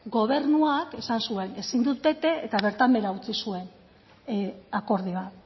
gobernuak esan zuen ezin dut bete eta bertan behera utzi zuen akordioa